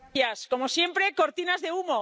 Como siempre, cortinas de humo.